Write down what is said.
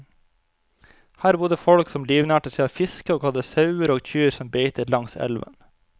Her bodde folk som livnærte seg av fiske og hadde sauer og kyr som beitet langs elven.